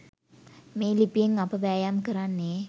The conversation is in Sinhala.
මේ ලිපියෙන් අප වෑයම් කරන්නේ